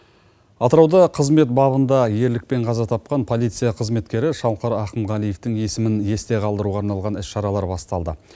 атырауда қызмет бабында ерлікпен қаза тапқан полиция қызметкері шалқар ақымғалиевтің есімін есте қалдыруға арналған іс шаралар басталды